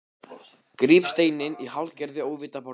Gríp steininn í hálfgerðu óviti af borðinu.